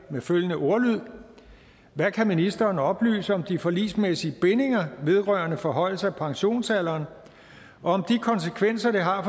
med følgende ordlyd hvad kan ministeren oplyse om de forligsmæssige bindinger vedrørende forhøjelser af pensionsalderen og om de konsekvenser det har